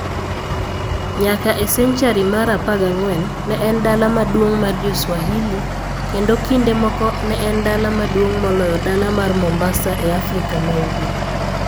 Nyaka a senchari mar 14, ne en dala maduong' mar Jo-Swahili, kendo kinde moko ne en dala maduong' moloyo dala mar Mombasa e Afrika ma Ugwe.